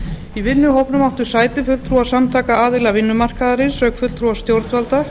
í vinnuhópnum áttu sæti fulltrúar samtaka aðila vinnumarkaðarins auk fulltrúa stjórnvalda